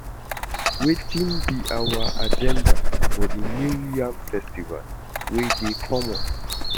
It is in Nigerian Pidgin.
Wetin be our agenda for the new yam festival wey dey come up?